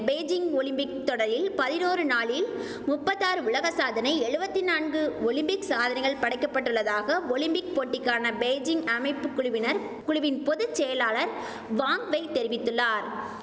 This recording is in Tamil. பெய்ஜிங் ஒலிம்பிக் தொடரில் பதினோரு நாளில் முப்பத்தாறு உலக சாதனை எழுவத்தி நான்கு ஒலிம்பிக் சாதனைகள் படைக்கப்பட்டுள்ளதாக ஒலிம்பிக் போட்டிக்கான பெய்ஜிங் அமைப்பு குழுவினர் குழுவின் பொது செயலாளர் வாங்வெய் தெரிவித்துள்ளார்